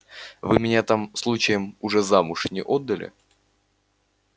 вы меня там случаем уже замуж не отдали